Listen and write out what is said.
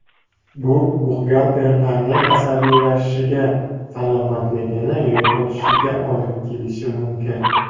Bu buxgalterlarning asabiylashishiga, salomatligini yo‘qotishiga olib kelishi mumkin.